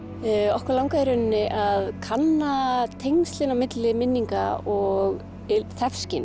okkur langaði í rauninni að kanna tengsl milli minninga og